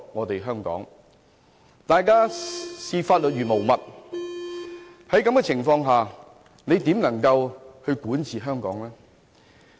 當大家視法律如無物時，在這種情況下，特首又怎能夠管治香港？